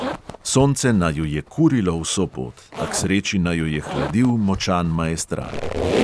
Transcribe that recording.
Sonce naju je kurilo vso pot, a k sreči naju je hladil močan maestral.